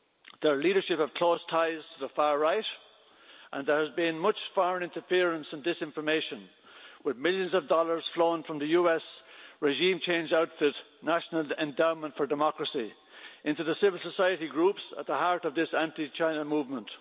Their leadership has close ties to the far right and there has been much foreign interference and disinformation, with millions of dollars flown from the US regime change outfit, National Endowment for Democracy, into the civil society groups at the heart of this anti China movement.